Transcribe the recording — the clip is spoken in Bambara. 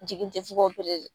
Jigi ten f'u ka